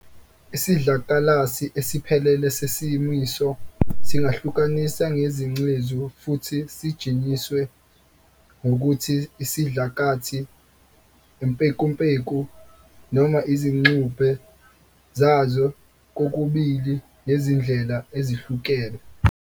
Isidlakalasi esiphelele sesimiso singahlukaniswa ngezingcezu futhi sijinjwe ngokuthi isidlakathi, impekumpeku, noma izingxube zazo kokubili ngezindlela ezihlukene.